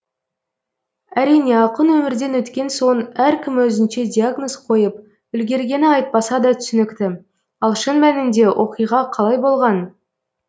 әрине ақын өмірден өткен соң әркім өзінше диагноз қойып үлгергені айтпаса да түсінікті ал шын мәнінде оқиға қалай болған